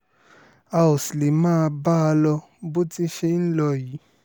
a ò sì lè máa bá a lọ bó ti ṣe ń lọ yìí